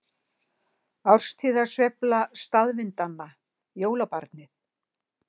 Árstíðasveifla staðvindanna- jólabarnið